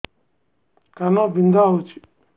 କାନ ବିନ୍ଧା ହଉଛି